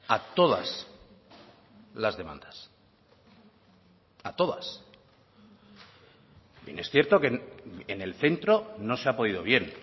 a todas las demandas a todas bien es cierto que en el centro no se ha podido bien